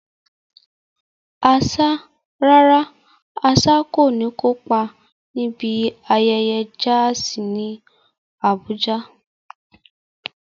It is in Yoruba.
Rárá, Asa kò ní kópa níbi ayẹyẹ jazz ní Abuja.